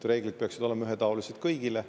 Reeglid peaksid olema ühetaolised kõigile.